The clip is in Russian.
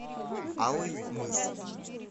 алый мыс